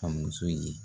Ka muso ye